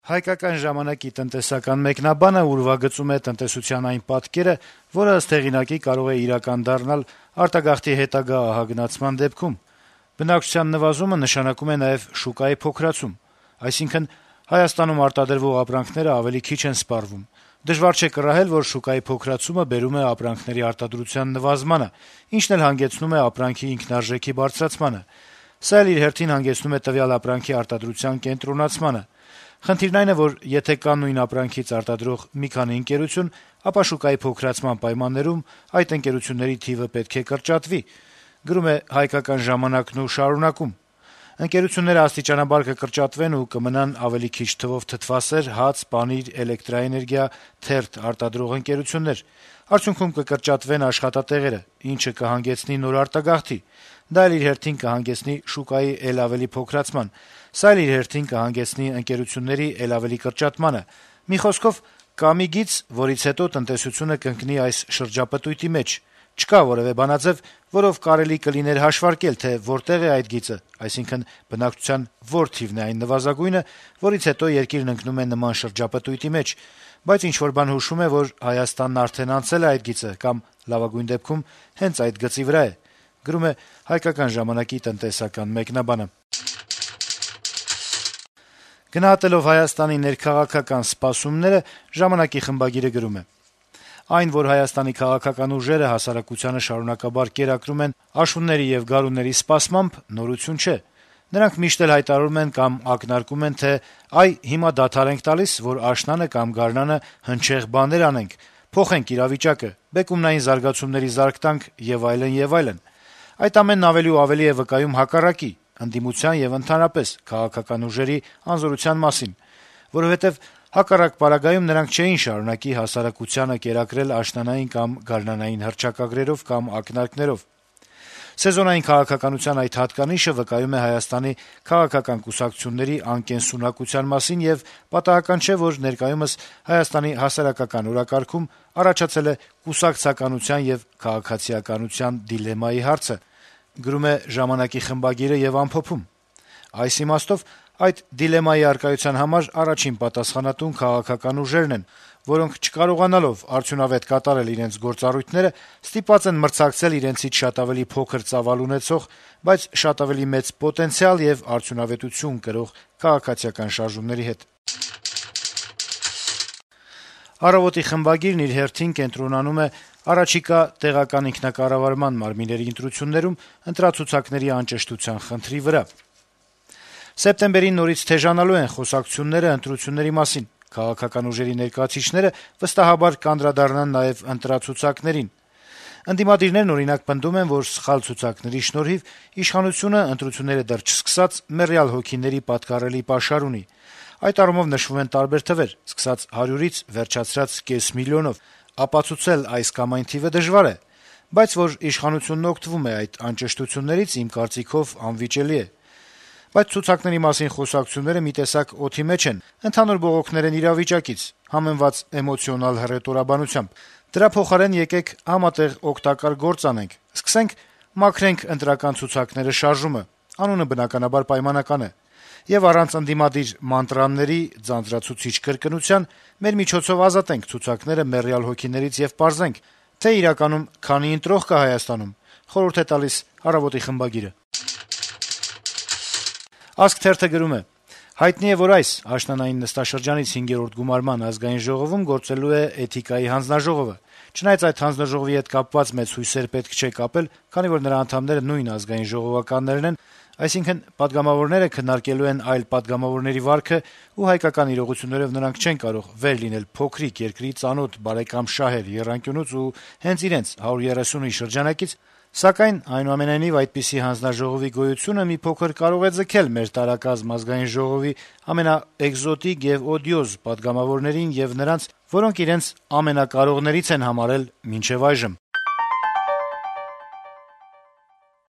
«Հայկական ժամանակ»-ի տնտեսական մեկնաբանը ուրվագծում է տնտեսության այն պատկերը, որը, ըստ հեղինակի, կարող է իրական դառնալ արտագաղթի հետագա ահագնացման դեպքում. - «Բնակչության նվազումը նշանակում է նաեւ շուկայի փոքրացում: Այսինքն, Հայաստանում արտադրվող ապրանքները ավելի քիչ են սպառվում: Դժվար չէ կռահել, որ շուկայի փոքրացումը բերում է ապրանքների արտադրության նվազմանը, ինչն էլ հանգեցնում է ապրանքի ինքնարժեքի բարձրացմանը: Սա էլ իր հերթին հանգեցնում է տվյալ ապրանքի արտադրության կենտրոնացմանը: Խնդիրն այն է, որ եթե կա նույն ապրանքից արտադրող մի քանի ընկերություն, ապա շուկայի փոքրացման պայմաններում այդ ընկերությունների թիվը պետք է կրճատվի: Ընկերությունները աստիճանաբար կկրճատվեն ու կմնան ավելի քիչ թվով թթվասեր, հաց, պանիր, էլէներգիա, թերթ... արտադրող ընկերություններ: Արդյունքում կկրճատվեն աշխատատեղերը, ինչը կհանգեցնի նոր արտագաղթի, դա էլ իր հերթին կհանգեցնի շուկայի էլ ավելի փոքրացման, սա էլ իր հերթին կհանգեցնի ընկերությունների էլ ավելի կրճատմանը... Մի խոսքով, կա մի գիծ, որից հետո տնտեսությունը կընկնի այս շրջապտույտի մեջ: Չկա որեւէ բանաձեւ, որով կարելի կլիներ հաշվարկել, թե որտեղ է այդ գիծը, այսինքն` բնակչության որ թիվն է այն նվազագույնը, որից հետո երկիրն ընկնում է նման շրջապտույտի մեջ: Բայց ինչ-որ բան հուշում է, որ Հայաստանն արդեն անցել է այդ գիծը կամ, լավագույն դեպքում, հենց այդ գծի վրա է»: Գնահատելով Հայաստանի ներքաղաքական սպասումները` «Ժամանակ»-ի խմբագիրը գրում է. - «Այն, որ Հայաստանի քաղաքական ուժերը հասարակությանը շարունակաբար կերակրում են աշունների եւ գարունների սպասմամբ, նորություն չէ: Նրանք միշտ էլ հայտարարում կամ ակնարկում են, թե` այ, հիմա դադար ենք տալիս, որ աշնանը կամ գարնանը հնչեղ բաներ անենք, փոխենք իրավիճակը, բեկումնային զարգացումների զարկ տանք եւ այլն, եւ այլն: Այդ ամենն ավելի ու ավելի է վկայում հակառակի՝ ընդդիմության եւ ընդհանրապես` քաղաքական ուժերի անզորության մասին, որովհետեւ հակառակ պարագայում նրանք չէին շարունակի հասարակությանը կերակրել աշնանային կամ գարնանային հռչակագրերով կամ ակնարկներով: Սեզոնային քաղաքականության այդ հատկանիշը վկայում է Հայաստանի քաղաքական կուսակցությունների անկենսունակության մասին, եւ պատահական չէ, որ ներկայումս Հայաստանի հասարակական օրակարգում առաջացել է կուսակցականության եւ քաղաքացիականության դիլեմայի հարցը: Այդ դիլեմայի առկայության համար առաջին պատասխանատուն քաղաքական ուժերն են, որոնք չկարողանալով արդյունավետ կատարել իրենց գործառույթները` ստիպված են մրցակցել իրենցից շատ ավելի փոքր ծավալ ունեցող, բայց շատ ավելի մեծ պոտենցիալ եւ արդյունավետություն կրող քաղաքացիական շարժումների հետ»: «Առավոտ»-ի խմբագիրն իր հերթին կենտրոնանում է առաջիկա տեղական ինքնակառավարման մարմիննների ընտրություններում ընտրացուցակների անճշտության խնդրի վրա. - «Սեպտեմբերին նորից թեժանալու են խոսակցություններն ընտրությունների մասին, քաղաքական ուժերի ներկայացուցիչները, վստահաբար, կանդրադառնան նաեւ ընտրացուցակներին: Ընդդիմադիրներն, օրինակ, պնդում են, որ սխալ ցուցակների շնորհիվ իշխանությունը, ընտրությունները դեռ չսկսած, «մեռյալ հոգիների» պատկառելի պաշար ունի: Այդ առումով նշվում են տարբեր թվեր` սկսած 100-ից վերջացրած կես միլիոնով: Ապացուցել այս կամ այն թիվը դժվար է, բայց` որ իշխանությունն օգտվում է այդ անճշտություններից, իմ կարծիքով, անվիճելի է: Բայց ցուցակների մասին խոսակցությունները մի տեսակ «օդի մեջ են», ընդհանուր բողոքներ են իրավիճակից` համեմված էմոցիոնալ հռետորաբանությամբ: Դրա փոխարեն եկեք համատեղ օգտակար գործ անեք, սկսենք «Մաքրենք ընտրական ցուցակները» շարժումը (անունը, բնականաբար, պայմանական է) եւ առանց ընդդիմադիր «մանտրաների» ձանձրացուցիչ կրկնության, մեր միջոցով ազատենք ցուցակները «մեռյալ հոգիներից» եւ պարզենք, թե իրականում քանի ընտրող կա Հայաստանում»: «Ազգ» թերթը գրում է. - «Հայտնի է, որ այս` աշնանային նստաշրջանից 5-րդ գումարման Ազգային ժողովում գործելու է Էթիկայի հանձնաժոողովը: Չնայած այդ հանձնաժողովի հետ կապված մեծ հույսեր պետք չէ կապել, քանի որ նրա անդամները նույն ազգային ժողովականներն են, այսինքն` պատգամավորները քննարկելու են այլ պատգամավորների վարքը ու հայկական իրողություններով նրանք չեն կարող վեր լինել փոքրիկ երկրի ծանոթ բարեկամ-շահեր եռանկյունուց, ու հենց իրենց` 130-ի շրջանակից, սակայն, այնուամենայնիվ, այդպիսի հանձնաժողովի գոյությունը մի փոքր կարող է ձգել մեր տարակազմ Ազգային ժողովի ամենաէկզոտիկ եւ օդիոզ պատգամավորներին եւ նրանց, որոնք իրենց ամենակարողներից են համարել մինչեւ այժմ»: